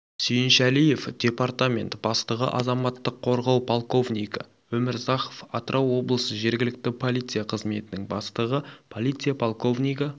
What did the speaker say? сүйіншәлиев департамент бастығы азаматтық қорғау полковнигі өмірзахов атырау облысы жергілікті полиция қызметінің бастығы полиция полковнигі